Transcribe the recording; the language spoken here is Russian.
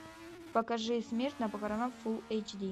покажи смерть на похоронах фул эйч ди